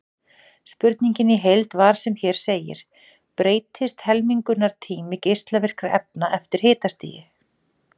Spurningin í heild var sem hér segir: Breytist helmingunartími geislavirkra efna eftir hitastigi?